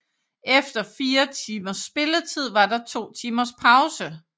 Efter fire timers spilletid var der to timers pause